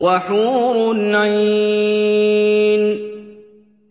وَحُورٌ عِينٌ